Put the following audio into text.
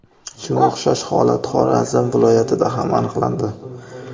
Shunga o‘xshash holat Xorazm viloyatida ham aniqlandi.